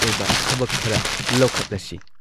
ꯑꯣꯏꯕ ꯊꯕꯛ ꯈꯔ ꯂꯧꯈꯠꯂꯁꯤ?"